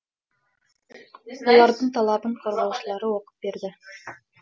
олардың талабын қорғаушылары оқып берді